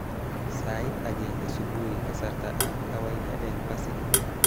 Sait agenge subui kasarta ab kawaida eng Pasifiki